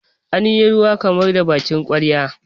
an yi ruwa kamar da bakin ƙwarya